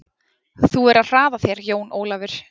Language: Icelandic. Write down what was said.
Þú verður að hraða þér Jón Ólafur!